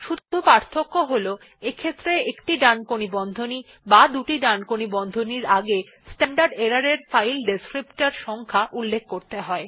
শুধু পার্থক্য হল এইক্ষেত্রে একটি ডানকোণী বন্ধনী বা দুটি ডানকোণী বন্ধনীর আগে স্ট্যান্ডার্ড এরর এর ফাইল ডেসক্রিপ্টর সংখ্যা উল্লেখ করতে হয়